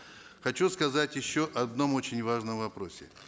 хочу сказать еще об одном очень важном вопросе